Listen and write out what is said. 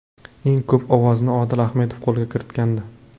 Eng ko‘p ovozni Odil Ahmedov qo‘lga kiritgandi.